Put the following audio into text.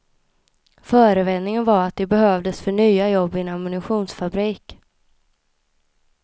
Förevändningen var att de behövdes för nya jobb i en ammunitionsfabrik.